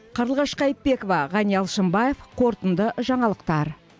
қарлығаш қайтпекова ғани алшынбаев қорытынды жаңалықтар